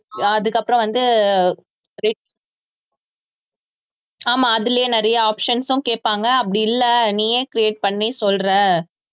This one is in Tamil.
அதுக்கப்புறம் வந்து re~ ஆமா அதிலேயே நிறைய options உம் கேட்பாங்க அப்படி இல்லை நீயே create பண்ணி சொல்றே